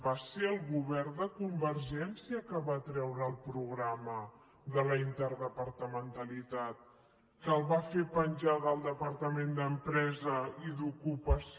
va ser el govern de convergència qui va treure el programa de la interdepartamentalitat que el va fer penjar del departament d’empresa i d’ocupació